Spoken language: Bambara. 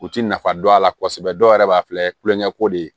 U ti nafa dɔn a la kosɛbɛ dɔw yɛrɛ b'a filɛ kulonkɛ ko de ye